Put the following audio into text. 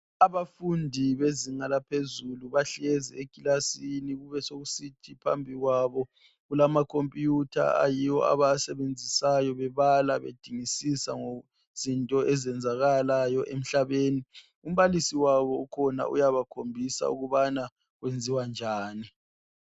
Abafundi bezinga laphezulu bahlezi ekilasini besokusithi phambi kwabo kulamakhompiyutha ayiwo abawasebenzisayo bebala bedingisisa ngezinto ezenzakalayo emhlabeni. Umbalisi wabo ukhona uyabakhombisa ukubana kwenziwa njani.